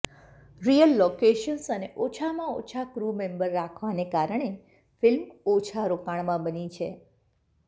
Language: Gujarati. રિયલ લોકેશંસ અને ઓછામાં ઓછા ક્રૂ મેંબર રાખવાને કારણે ફિલ્મ ઓછા રોકાણમાં બની છે